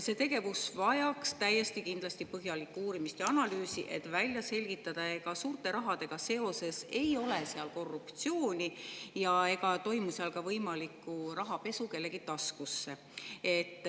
See tegevus vajaks täiesti kindlasti põhjalikku uurimist ja analüüsi, et välja selgitada, ega suurte rahadega seoses ei ole seal korruptsiooni ega toimu seal ka rahapesu kellegi taskusse.